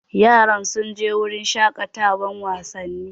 Yaran sun je wurin shaƙatawan wasanni?